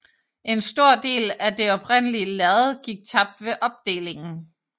En stor del af det oprindelige lærred gik tabt ved opdelingen